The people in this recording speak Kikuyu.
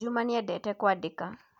juma niedete kwadĩka